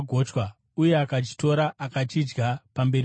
uye akachitora akachidya pamberi pavo.